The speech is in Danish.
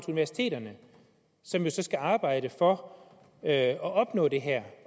universiteterne som jo så skal arbejde for at opnå det her